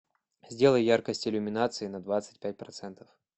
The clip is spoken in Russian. сделай яркость иллюминации на двадцать пять процентов